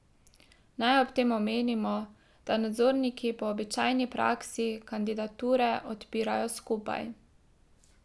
Naj ob tem omenimo, da nadzorniki po običajni praksi kandidature odpirajo skupaj.